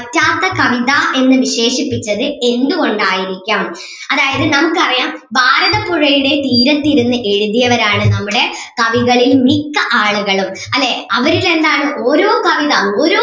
വറ്റാത്ത കവിത എന്ന് വിശേഷിപ്പിച്ചത് എന്ത് കൊണ്ട് ആയിരിക്കാം അതായത് നമുക്ക് അറിയാം ഭാരതപ്പുഴയുടെ തീരത്ത് ഇരുന്ന് എഴുതിയവരാണ് നമ്മുടെ കവികളിൽ മിക്ക ആളുകളും അല്ലെ അവര് രണ്ടാളും ഓരോ കവിത ഓരോ